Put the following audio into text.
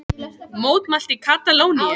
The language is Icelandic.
Mótmælt í Katalóníu